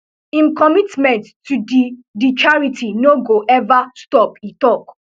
im commitment to di di charity no go ever stop e tok